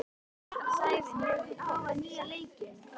Sævin, hefur þú prófað nýja leikinn?